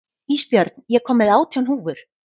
Ísbjörn, ég kom með átján húfur!